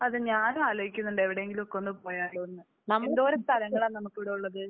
അതെ. ഞാനും ആലോചിക്കുന്നുണ്ട് എവിടെയെങ്കിലുമൊക്കെ ഒന്ന് പോയാലോന്ന്. എന്തോരം സ്ഥലങ്ങളാണ് നമുക്ക് ഇവിടെ ഉള്ളത്